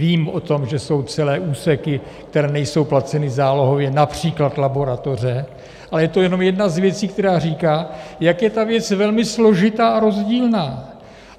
Vím o tom, že jsou celé úseky, které nejsou placeny zálohově, například laboratoře, ale je to jenom jedna z věcí, která říká, jak je ta věc velmi složitá a rozdílná.